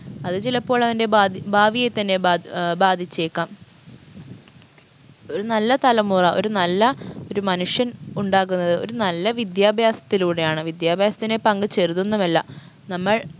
അത് ചിലപ്പോൾ അവൻറെ ഭാ ഭാവിയെ തന്നെ ബാദ് ഏർ ബാധിച്ചേക്കാം ഒരു നല്ല തലമുറ ഒരു നല്ല ഒരു മനുഷ്യൻ ഉണ്ടാകുന്നത് ഒരു നല്ല വിദ്യാഭ്യാസത്തിലൂടെയാണ് വിദ്യാഭ്യാസത്തിനെ പങ്ക് ചെറുതൊന്നുമല്ല നമ്മൾ